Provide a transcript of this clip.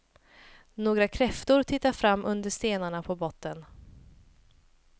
Några kräftor tittar fram under stenarna på botten.